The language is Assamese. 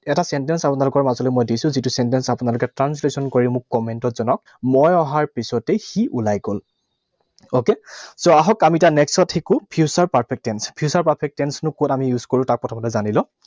এটা sentence মই আপোনালোকৰ মাজলৈ দিছো। যিটো sentence আপোনালোকে translation কৰি মোক comment ত জনাওক। মই অহাৰ পিছতেই সি ওলাই গল। Okay? So, আহক, আমি এতিয়া next ত শিকোঁ future perfect tense. Future perfect tense নো কত আমি use কৰোঁ তাক প্ৰথমতে জানি লওঁ।